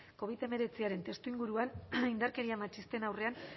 covid hemeretziaren testuinguruan indarkeria matxisten aurrean